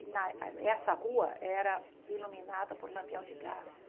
E na essa rua era iluminada por lampião de gás.